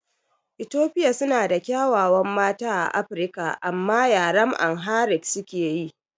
Etofia suna da ƙyawawan mata a Afirika amma yaren AmhariC suke yi